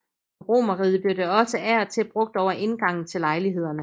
I romerriget blev det også af og til brugt over indgangen til lejlighederne